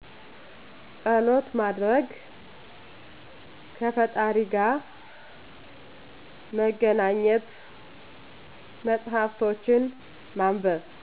ፀሎት ማድረግ ከፈጣሪ ጋ መገናኘት መፅሃፍቶችን ማንበብ